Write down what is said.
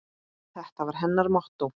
Þetta var hennar mottó.